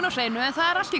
á sviðinu þeir eru allt í